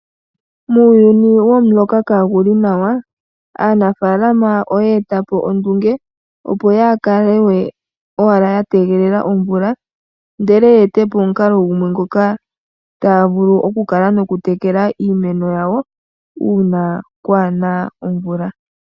Muuyuni gwomuloka kaagu li nawa, aanafaalama ota eta po ondunge opo yaaka lewe owala ya tegelela omvula, ndele ya ete po omukalo gumwe ngoka taya vulu oku kala ya tekela iimeno yawo uuna kwaana omvula.